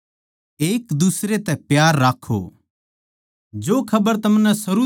हे बिश्वासी भाईयो जै दुनिया के माणस थारै तै बैर करै सै तो अचम्भा ना करो